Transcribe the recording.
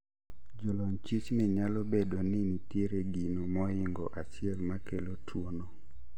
Jolony chich ni nyalo bedo ni nitie gino mohingo achiel makelo tuo no